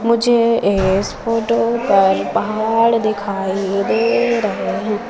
मुझे इस फोटो पर पहाड़ दिखाई दे रहे हैं।